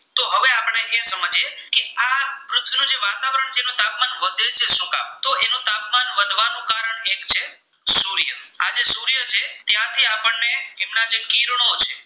કિરણો છે.